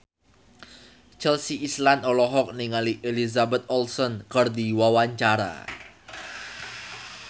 Chelsea Islan olohok ningali Elizabeth Olsen keur diwawancara